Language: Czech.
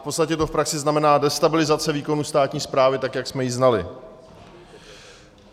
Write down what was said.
V podstatě to v praxi znamená destabilizaci výkonu státní správy, tak jak jsme ji znali.